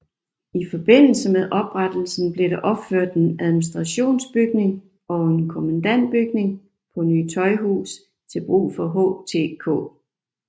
I forbindelse med oprettelsen blev der opført en administrationsbygning og en kommandantbygning på Ny Tøjhus til brug for HTK